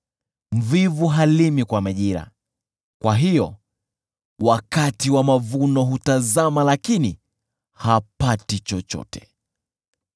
Mvivu halimi kwa majira; kwa hiyo wakati wa mavuno hutazama lakini hapati chochote.